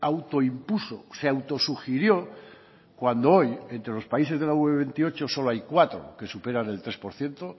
auto impuso se auto sugirió cuando hoy entre los países de la ue veintiocho solo hay cuatro que superan el tres por ciento